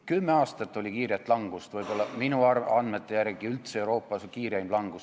Kümme aastat oli kiiret langust, minu andmete järgi oli see ehk kiireim langus Euroopas.